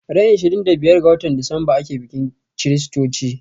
Ran ishirin da biyar ga watan Decemba ake bikin chritochi